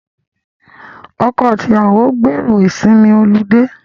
Ọkọ àti ìyàwó gbèrò ìsinmi olidé